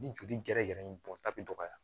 Ni joli gɛrɛgɛrɛ in bɔta bɛ dɔgɔya